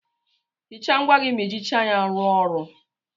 Hicha ngwá gị ma ijicha ya ruo ọrụ.